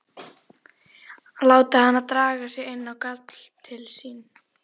Láta hana draga sig inn á gafl til sín.